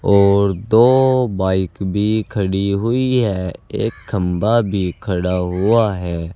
और दो बाइक भी खड़ी हुई हैं। एक खंभा भी खड़ा हुआ है।